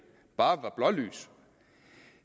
bare var blålys